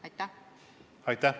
Aitäh!